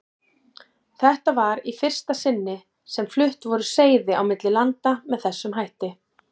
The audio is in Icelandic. Þetta var í fyrsta sinni sem flutt voru seiði á milli landa með þessum hætti.